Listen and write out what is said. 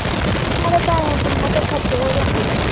ਪੈਹੇ ਤਿੰਨਾ ਦੇ ਖਰਚ ਹੋ ਜਾਂਦੇ ਆ।